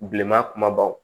Bilenman kumabaw